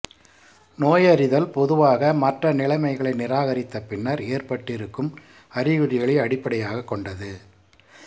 நோயறிதல் பொதுவாக மற்ற நிலைமைகளை நிராகரித்த பின்னர் ஏற்பட்டிருக்கும் அறிகுறிகளை அடிப்படையாகக் கொண்டது